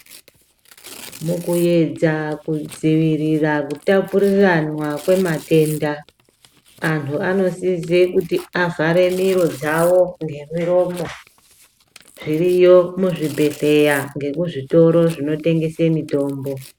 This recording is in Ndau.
Mukuyedza kudzivirira kutapuriranwa kwematenda anhu anosise kuti avhare miro dzawo ngemiromo zviriyo muzvibhehleya ngemuzvitoro zvinotengese mitombo.